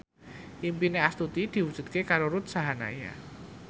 impine Astuti diwujudke karo Ruth Sahanaya